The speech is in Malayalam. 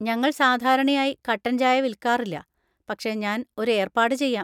ഞങ്ങൾ സാധാരണയായി കട്ടൻ ചായ വിൽക്കാറില്ല, പക്ഷേ ഞാൻ ഒരു ഏർപ്പാട് ചെയ്യാം.